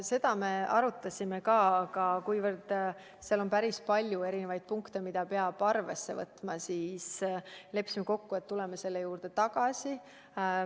Seda me arutasime ka, aga kuna seal on päris palju erinevaid punkte, mida peab arvesse võtma, siis leppisime kokku, et tuleme selle juurde tagasi.